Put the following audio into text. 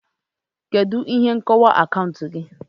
Kedu ihe nkọwa akaụntụ gị?